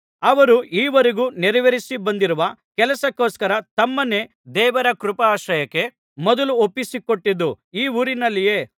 ಅವರು ಈವರೆಗೆ ನೆರವೇರಿಸಿ ಬಂದಿರುವ ಕೆಲಸಕ್ಕೋಸ್ಕರ ತಮ್ಮನ್ನೇ ದೇವರ ಕೃಪಾಶ್ರಯಕ್ಕೆ ಮೊದಲು ಒಪ್ಪಿಸಿಕೊಟ್ಟದ್ದು ಈ ಊರಿನಲ್ಲಿಯೇ